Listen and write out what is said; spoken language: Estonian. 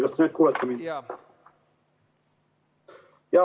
Kas te nüüd kuulete mind?